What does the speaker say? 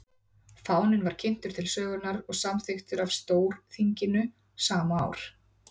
fáninn var kynntur til sögunnar og samþykktur af stórþinginu sama ár